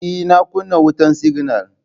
Ee, na kuna wutan siginal.